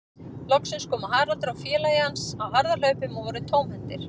Loksins komu Haraldur og félagi hans á harðahlaupum og voru tómhentir.